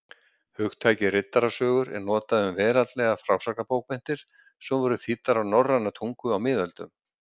Hugtakið riddarasögur er notað um veraldlegar frásagnarbókmenntir sem voru þýddar á norræna tungu á miðöldum.